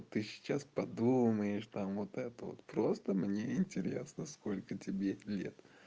ты сейчас подумаешь там вот это вот просто мне интересно сколько тебе лет